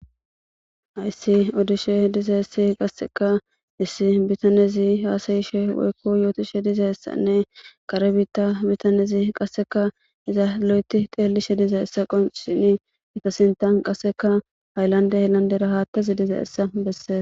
Ayssi odishe diza essi qasseka issi bitanezi haasayishe woykko yootishe diza essanne kare biitta bitanezi qasseka iza lo'eti teellishe diza essa qonsini ita sintan qasseka ayllande helanderahaattazi diza essa bessees.